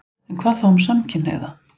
En hvað þá um samkynhneigða?